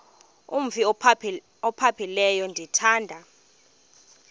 umf ophaphileyo ndithanda